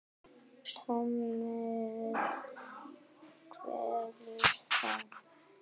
Tómið kvelur þá.